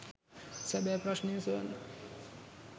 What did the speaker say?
සැබෑ ප්‍රශ්නය සොයන්න